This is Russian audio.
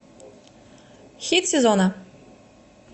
хит сезона